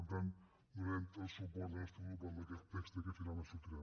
per tant donarem el suport del nostre grup a aquest text que finalment sortirà